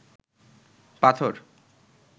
পাথর